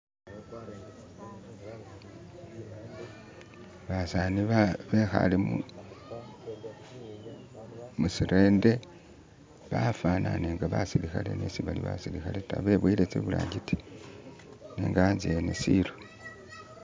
basani bekhale musirende bafanane nga basilikhale nesibali basiikhale ta beboyele tsibulangiti nenga anze ene shilo